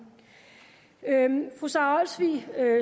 fru sara olsvig